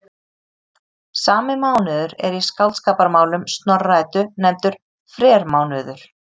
Sami mánuður er í Skáldskaparmálum Snorra-Eddu nefndur frermánuður.